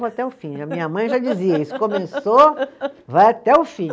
até o fim, a minha mãe já dizia isso, começou, vai até o fim.